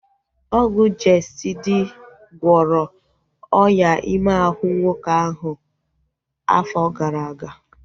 Ọgwụ Jestịdi gwọrọ ọnyá ime ahụ nwoke ahu afọ gara aga